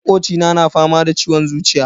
Makocina na fama da ciwon zuciya.